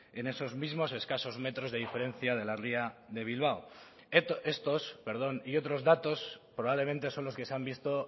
en esos mismos escasos metros de diferencia de la ría de bilbao estos y otros datos probablemente son los que se han visto